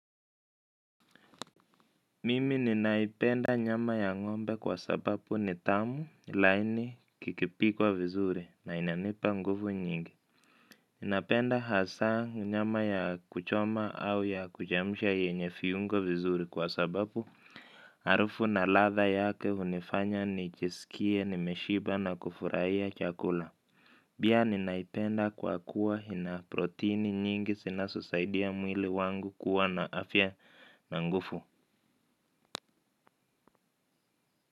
Mimi ninaipenda nyama ya ngombe kwa sababu ni tamu laini kikipikwa vizuri na inanipa nguvu nyingi. Napenda hasa nyama ya kuchoma au ya kuchemsha yenye viungo vizuri kwa sababu harufu na latha yake hunifanya nijisikie nimeshiba na kufurahia chakula. Pia ninaipenda kwa kuwa ina protini nyingi zinazosaidia mwili wangu kuwa na afya na nguvu.